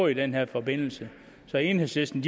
i den her forbindelse så enhedslisten